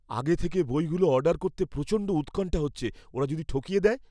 আগে থেকে বইগুলো অর্ডার করতে প্রচণ্ড উৎকণ্ঠা হচ্ছে, ওরা যদি ঠকিয়ে দেয়!